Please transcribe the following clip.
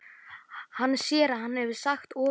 Hann sér að hann hefur sagt of mikið.